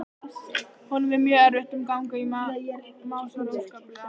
Honum er mjög erfitt um gang og másar óskaplega.